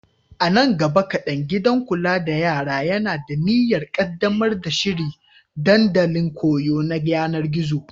A nan gaba kaɗan, gidan kula da yara yana da niyyar ƙaddamar da shiri dandalin koyo na yanar gizo.